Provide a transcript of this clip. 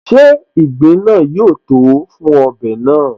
Ṣe ìgbín náà yóó tòó fún ọbẹ̀ náà?